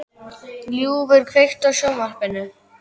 Ljúfur, kveiktu á sjónvarpinu.